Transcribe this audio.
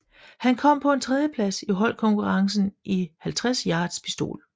Han kom på en tredjeplads i holdkonkurrencen i 50 yards pistol